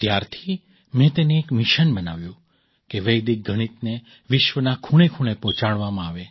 ત્યારથી મેં તેને એક મિશન બનાવ્યું કે વૈદિક ગણિતને વિશ્વના ખૂણેખૂણે પહોંચાડવામાં આવે